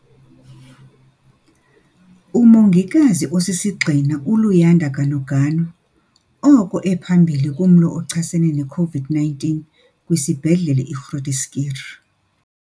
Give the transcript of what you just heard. Umongikazi osisigxina uLuyanda Ganuganu oko ephambili kumlo ochasene ne-COVID-19 kwisiBhedlele i-Groote Schuur.